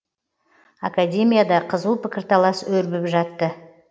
академияда қызу пікірталас өрбіп жатты